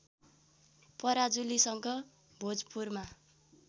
पराजुलीसँग भोजपुरमा